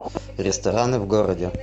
рестораны в городе